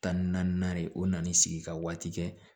Tan ni naani o nana ni sigi ka waati kɛ